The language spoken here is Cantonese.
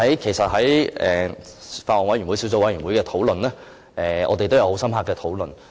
其實小組委員會對此有很深刻的討論。